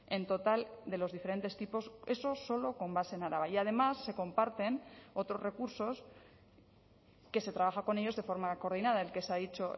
en total de los diferentes tipos eso solo con base en araba y además se comparten otros recursos que se trabaja con ellos de forma coordinada el que se ha dicho